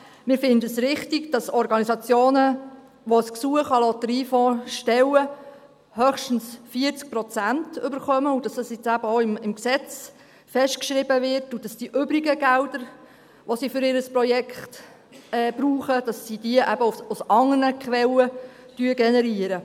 Wir finden es richtig, dass Organisationen, die ein Gesuch an den Lotteriefonds stellen, höchstens 40 Prozent erhalten, dass das jetzt eben auch im Gesetz festgeschrieben wird, und dass sie die übrigen Gelder, die sie für ihr Projekt brauchen, eben aus anderen Quellen generieren.